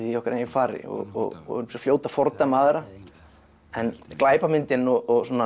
í okkar eigin fari og og erum svo fljót að fordæma aðra en glæpamyndin og